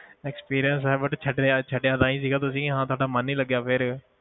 Experience ਹੈ but ਛੱਡਿਆ ਛੱਡਿਆ ਤਾਂ ਹੀ ਸੀਗਾ ਤੁਸੀਂ ਹਾਂ ਤੁਹਾਡਾ ਮਨ ਨੀ ਲੱਗਿਆ ਫਿਰ।